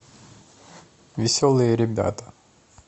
веселые ребята